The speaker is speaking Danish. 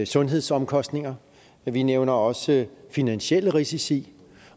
sundhedsomkostninger men vi nævner også finansielle risici